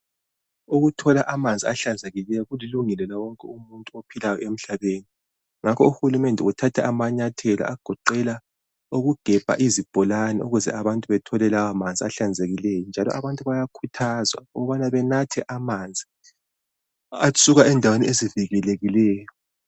Ukuthola amanzi ahlanzekileyo kulilungelo lawonke umuntu ophilayo emhlabeni ngakho uhulumende uthatha amanyathelo agoqela ukugebha izibholane ukuze abantu bethole lawomanzi ahlanzekileyo njalo abantu bayakhuthazwa ukubana benathe amanzi asuka endaweni ezivikelekikeyo.